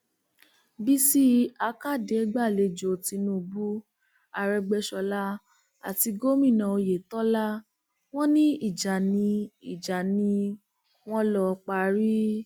bísí àkàdé gbàlejò tinubu arègbèsọlá àti gomina oyetola wọn ní ìjà ni ìjà ni wọn lọọ parí